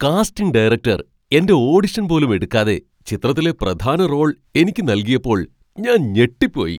Casting director എന്റെ audition പോലും എടുക്കാതെ ചിത്രത്തിലെ പ്രധാന റോൾ എനിക്ക് നൽകിയപ്പോൾ ഞാൻ ഞെട്ടിപ്പോയി.